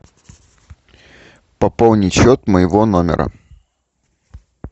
пополнить счет моего номера